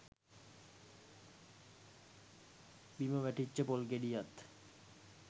බිම වැටිච්ච පොල් ගෙඩියත්